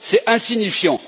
C'est insignifiant.